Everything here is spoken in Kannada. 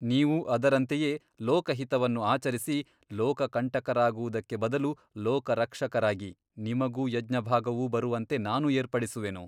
ನೀವೂ ಅದರಂತೆಯೇ ಲೋಕಹಿತವನ್ನು ಆಚರಿಸಿ ಲೋಕ ಕಂಟಕರಾಗುವುದಕ್ಕೆ ಬದಲು ಲೋಕರಕ್ಷಕರಾಗಿ ನಿಮಗೂ ಯಜ್ಞಭಾಗವೂ ಬರುವಂತೆ ನಾನು ಏರ್ಪಡಿಸುವೆನು.